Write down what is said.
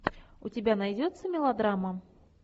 у тебя найдется мелодрама